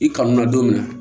I kanu na don min na